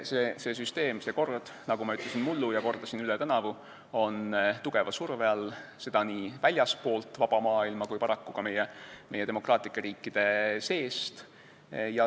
See süsteem, see kord, nagu ma ütlesin mullu ja kordasin üle tänavu, on tugeva surve all, seda nii väljastpoolt vaba maailma kui paraku ka meie demokraatlike riikide seest.